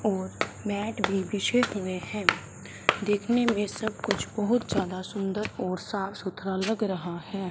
और मैट भी बिछे हुए हैं देखने में सब कुछ बहुत ज्यादा सुंदर और साफ सुथरा लग रहा है।